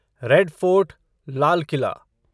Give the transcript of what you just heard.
red Fort लाल किला